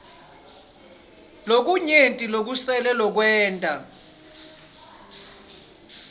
lokunyenti lokusele lokwenta